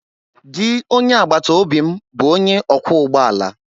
Di onye agbataobi m bụ onye ọkwọ ụgbọ ala